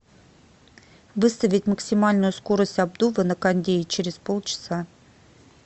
выставить максимальную скорость обдува на кондее через полчаса